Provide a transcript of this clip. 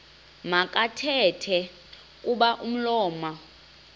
makathethe kuba umlomo